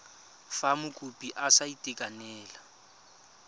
fa mokopi a sa itekanela